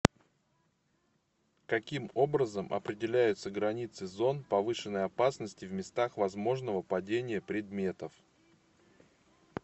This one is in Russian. каким образом определяются границы зон повышенной опасности в местах возможного падения предметов